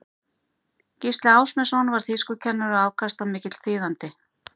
gísli ásmundsson var þýskukennari og afkastamikill þýðandi